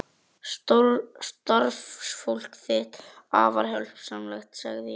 Starfsfólk þitt er afar hjálpsamlegt sagði ég.